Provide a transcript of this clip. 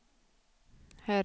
herre